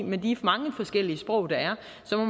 med de mange forskellige sprog der er